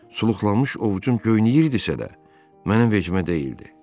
Suluxlanmış ovcum göynəyirdisə də, mənim vecimə deyildi.